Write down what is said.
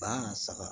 Ba saga